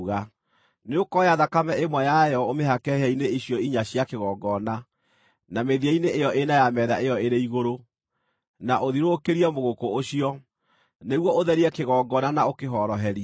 Nĩũkooya thakame ĩmwe ya yo ũmĩhake hĩa-inĩ icio inya cia kĩgongona, na mĩthia-inĩ ĩyo ĩna ya metha ĩyo ĩrĩ igũrũ, na ũthiũrũrũkĩrie mũgũkũ ũcio, nĩguo ũtherie kĩgongona na ũkĩhoroherie.